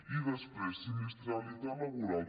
i després sinistralitat laboral